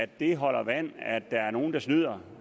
det holder vand at der er nogle der snyder